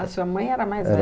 A sua mãe era a mais